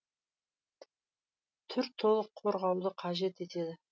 түр толық қорғауды қажет етеді